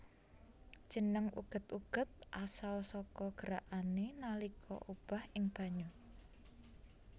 Jeneng uget uget asal saka gerakané nalika obah ing banyu